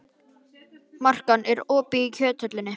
Makan, er opið í Kjöthöllinni?